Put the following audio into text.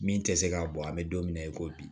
Min tɛ se ka bɔ an bɛ don min na i ko bi